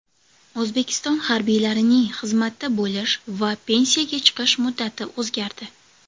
O‘zbekiston harbiylarining xizmatda bo‘lish va pensiyaga chiqish muddati o‘zgardi.